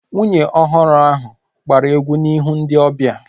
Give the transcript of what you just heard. Nwunye ọhụrụ ahu gbara egwu n'ihu ndị ọbịa